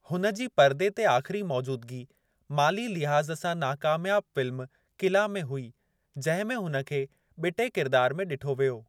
हुन जी पर्दे ते आख़िरी मौजूदगी, माली लिहाज़ सां नाकामियाबु फ़िल्म किला में हुई, जंहिं में हुन खे ॿिटे किरिदार में ॾिठो वियो।